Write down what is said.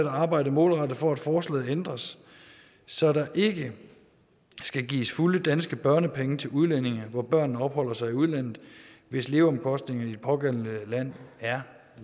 at arbejde målrettet for at forslaget ændres så der ikke skal gives fulde danske børnepenge til udlændinge hvor børnene opholder sig i udlandet hvis leveomkostningerne i det pågældende land er